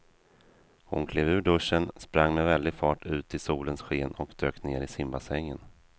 Hon klev ur duschen, sprang med väldig fart ut i solens sken och dök ner i simbassängen.